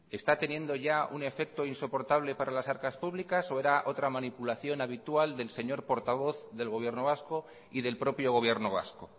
está teniendo ya un efecto insoportable para las arcas públicas o era otra manipulación habitual del señor portavoz del gobierno vasco y del propio gobierno vasco